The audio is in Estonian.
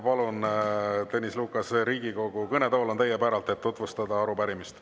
Palun, Tõnis Lukas, Riigikogu kõnetool on teie päralt, et tutvustada arupärimist.